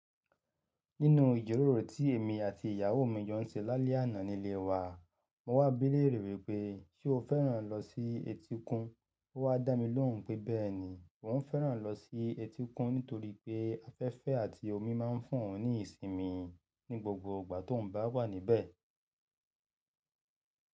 Nínu ìjíròrò tí èmi àti ìyàwó mi jo oun ṣe lálẹ́ àná nílé wa, mo wá bi léèrè rẹ̀ wípé, "ṣé o fẹ́ràn lọ sí etíkun?" Ó wá dá mi lóhùn pé bẹ́ẹ̀ ni, òun fẹ́ràn lọ sí etíkun nítorí pé afẹ́fẹ́ àti omi máa ń fún òun ní ìsinmi ní gbogbo ìgbà tó n bá wà níbẹ̀.